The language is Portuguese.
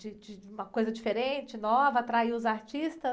De, de uma coisa diferente, nova, atraiu os artistas.